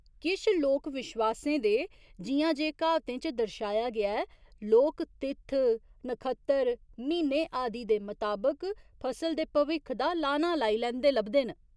किश लोक विश्वासें दे, जि'यां जे क्हावतें च दर्शाया गेआ ऐ, लोक तित्थ, नखत्तर, म्हीने आदि दे मताबक फसल दे भविक्ख दा लाना लाई लैंदे लभदे न।